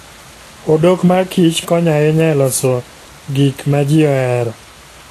Odok mar Kich konyo ahinya e loso gik ma ji ohero.